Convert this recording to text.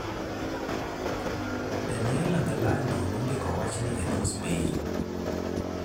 Daniela Gallardo nondiko wachni e dho - Spain.